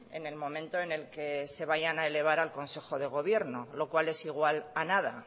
en el momento en el que se vayan a elevar al consejo de gobierno lo cual es igual a nada